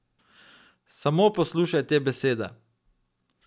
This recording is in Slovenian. Samo poslušaj te besede.